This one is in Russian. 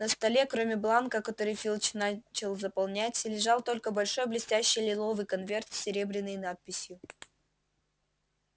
на столе кроме бланка который филч начал заполнять лежал только большой блестящий лиловый конверт с серебряной надписью